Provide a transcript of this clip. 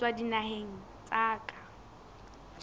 ho tswa dinaheng tsa ka